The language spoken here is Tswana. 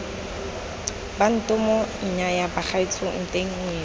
bantomo nnyaya bagaetsho nteng ngwetsi